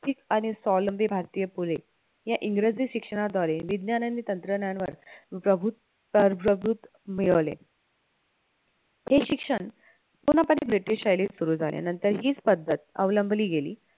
आणि स्वावलंबी भारतीय पुरे, या इंग्रजी शिक्षणाद्वारे विज्ञान आणि तंत्रज्ञान वर प्रभुत्व मिळवले हे शिक्षण पुन्हा कधी भेटू शैलीत सुरु झाले नंतर हीच पद्धत अवलंबली गेली